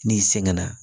N'i sɛgɛn na